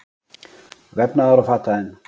Vefnaðar- og fataiðn.